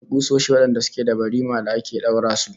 Akwai kusoshi wadanda suke da barima da ake daura su